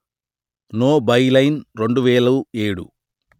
no byline రెండు వెలు ఏడు